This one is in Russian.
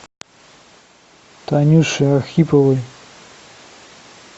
танюше архиповой